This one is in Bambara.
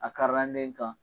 A in kan.